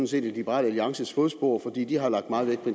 set i liberal alliances fodspor for de har lagt meget vægt på